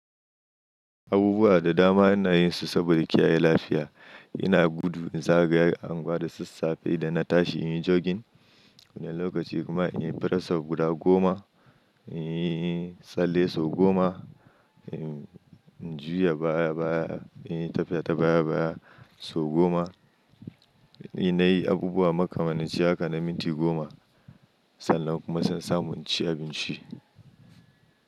Abubuwa da dama ina yin su saboda kiyaye lafiya. Ina gudu, in zagaya anguwa da sassafe idan na tashi in yi jogin. Wani lokaci kuma in yi press up guda goma, in yi tsalle sau goma, in juya baya-baya, in yi tafiya ta baya-baya sau goma. In na yi abubuwa makamancin haka na minti goma, sannan kuma zan samu in ci abinci.